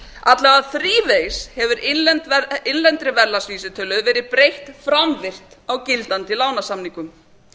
alla vega þrívegis hefur innlendri verðlagsvísitölu verið breytt framvirkt á gildandi lánasamningum